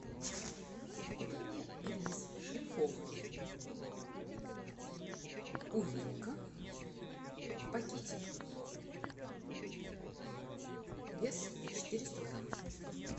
купи мне рис шлифованный увелка в пакетиках вес четыреста грамм